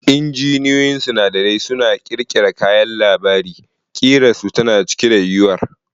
Injiniyoyin sinadarai suna ƙirƙira kayan labari, ƙirarsu tana cike da yuwuwar.